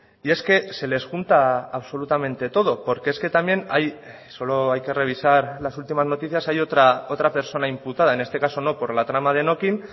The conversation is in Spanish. y es que se les junta absolutamente todo porque es que también hay solo hay que revisar las últimas noticias hay otra persona imputada en este caso no por la trama denokinn